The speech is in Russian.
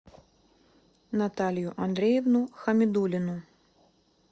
наталью андреевну хамидуллину